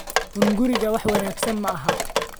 Hungurigu wax wanaagsan maaha